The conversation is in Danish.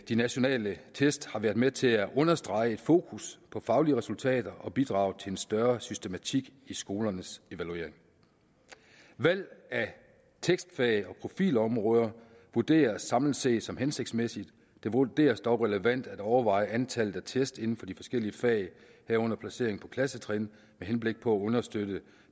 de nationale test har været med til at understrege et fokus på faglige resultater og bidrager til en større systematik i skolernes evaluering valg af testfag og profilområder vurderes samlet set som hensigtsmæssigt det vurderes dog relevant at overveje antallet af test inden for de forskellige fag herunder placering på klassetrin med henblik på at understøtte